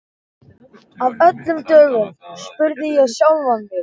Af öllum dögum? spurði ég sjálfa mig.